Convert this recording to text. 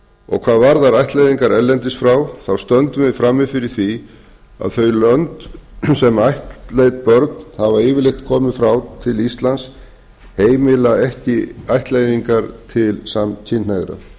og hvað varðar ættleiðingar erlendis frá þá stöndum við frammi fyrir því að þau lönd sem ættleidd börn hafa yfirleitt komið frá til íslands heimila ekki ættleiðingar til samkynhneigðra